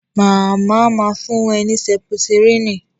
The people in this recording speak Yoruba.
Màmá ma fún ẹ ní Sẹ́pítírínì